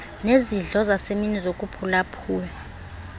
nezidlo zasemini zokuphulaphula